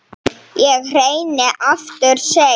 Ég reyni aftur seinna